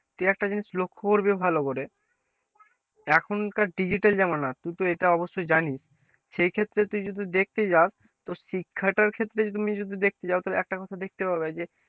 তুই একটা জিনিস লক্ষ্য করবি ভালো করে এখনকার digital জামানা তুই তো এটা অবশ্যই জানিস সে ক্ষেত্রে তুই যদি দেখতে যাস তো শিক্ষাটার ক্ষেত্রে যদি তুমি দেখতে চাও তাহলে একটা কথা দেখতে পাবে,